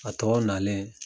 A tɔw nalen